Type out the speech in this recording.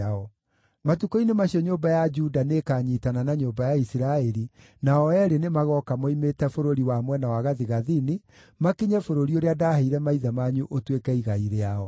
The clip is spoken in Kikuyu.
Matukũ-inĩ macio nyũmba ya Juda nĩĩkanyiitana na nyũmba ya Isiraeli, na o eerĩ nĩmagooka moimĩte bũrũri wa mwena wa gathigathini, makinye bũrũri ũrĩa ndaaheire maithe manyu ũtuĩke igai rĩao.